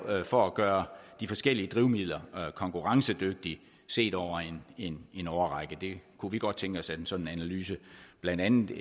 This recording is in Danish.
for at gøre de forskellige drivmidler konkurrencedygtige set over en årrække det kunne vi godt tænke os en sådan analyse blandt andet